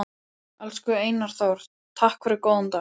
Elsku Einar Þór, takk fyrir góðan dag.